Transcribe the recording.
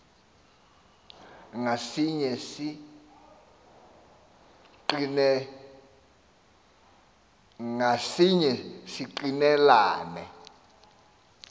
ngasinye si ngqinelana